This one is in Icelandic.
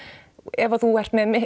ef að þú ert með